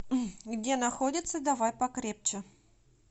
где находится давай покрепче